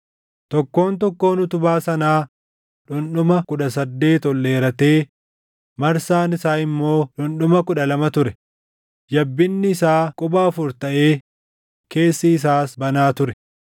Tokkoon tokkoon utubaa sanaa dhundhuma kudha saddeet ol dheeratee marsaan isaa immoo dhundhuma kudha lama ture; yabbinni isaa quba afur taʼee keessi isaas banaa ture.